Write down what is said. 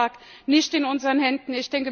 Aber das lag nicht in unseren Händen.